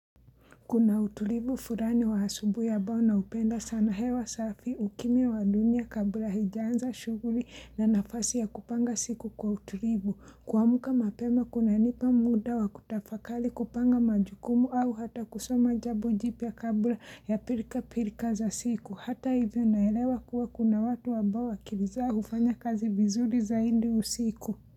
Kuna utulivu fulani wa asubuhi ambao naupenda sana, hewa safi ukimya wa dunia kabla haijaanza shughuli na nafasi ya kupanga siku kwa utulivu. Kuamka mapema kunanipa muda wa kutafakali, kupanga majukumu au hata kusoma jambo jipya kabla ya pilka pilka za siku. Hata hivyo naelewa kuwa kuna watu ambao akili za hufanya kazi vizuri zaidi usiku.